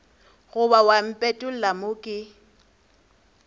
goba wa mpetolla mo ke